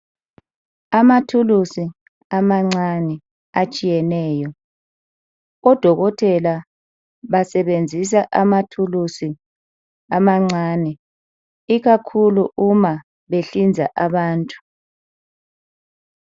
Amathulusi amancane atshiyeneyo odokotela basebenzisa amathulusi amancane ikakhulu umabehlinza abantu